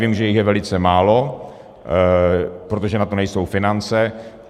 Vím, že jich je velice málo, protože na to nejsou finance.